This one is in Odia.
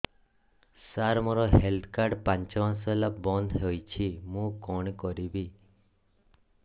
ସାର ମୋର ହେଲ୍ଥ କାର୍ଡ ପାଞ୍ଚ ମାସ ହେଲା ବଂଦ ହୋଇଛି ମୁଁ କଣ କରିବି